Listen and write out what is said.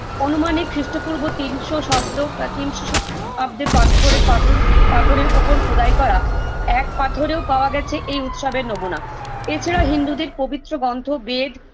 অনুমানিক খ্রিষ্টপূর্ব তিনশো সব্দ ব্য তিনশো শ আব্দে পাথরে পাথর পাথরের ওপর খোদাই করা এক পাথরেও পাওয়া গেছে এই উৎসবের নমুনা এছাড়া হিন্দুদের পবিত্র গন্থ বেদ